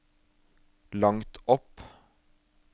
langt opp